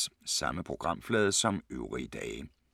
Samme programflade som øvrige dage